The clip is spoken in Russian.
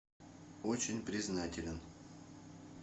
очень признателен